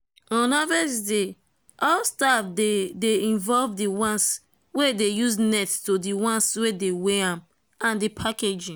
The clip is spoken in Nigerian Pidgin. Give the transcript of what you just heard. on harvest day all staff dey dey involved—the ones wey dey use net to the ones wey dey weight am and the packaging.